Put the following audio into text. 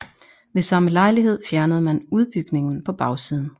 Ved samme lejlighed fjernede man udbygningen på bagsiden